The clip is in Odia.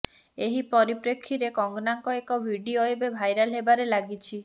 ଏହି ପରିପ୍ରେକ୍ଷୀରେ କଙ୍ଗନାଙ୍କ ଏକ ଭିଡିଓ ଏବେ ଭାଇରାଲ ହେବାରେ ଲାଗିଛି